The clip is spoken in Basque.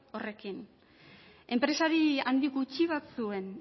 horrekin enpresari handi gutxi batzuen